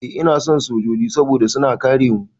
Eh ina son sojoji saboda suna kare mu.